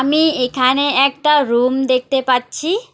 আমি এখানে একটা রুম দেখতে পাচ্ছি।